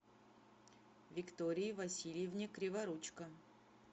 виктории васильевне криворучко